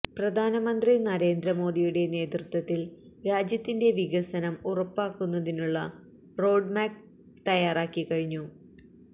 പ്രധാനമന്ത്രി നരേന്ദ്ര മോദിയുടെ നേതൃത്വത്തില് രാജ്യത്തിന്റെ വികസനം ഉറപ്പാക്കുന്നതിനുള്ള റോഡ് മാപ്പ് തയ്യാറായിക്കഴിഞ്ഞു